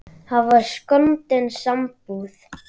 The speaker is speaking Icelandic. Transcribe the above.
Það var skondin sambúð.